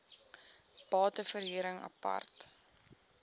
bate verhuring apart